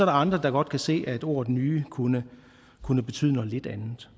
andre der godt kan se at ordet nye kunne kunne betyde noget lidt andet